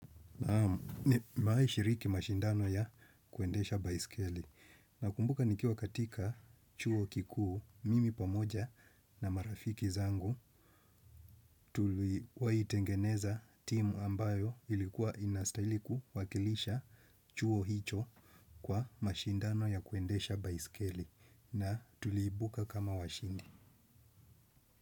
Nimewai shiriki mashindano ya kuendesha baiskeli nakumbuka nikiwa katika chuo kikuu mimi pamoja na marafiki zangu tuliwa tengeneza timu ambayo ilikuwa inastaili kuwakilisha chuo hicho kwa mashindano ya kuendesha baiskeli na tuliibuka kama washindi.